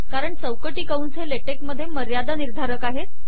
कारण चौकटी कंस हे ले टेक मधे मर्यादा निर्धारक आहेत